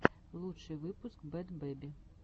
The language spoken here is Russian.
лучший выпуск бэд бэби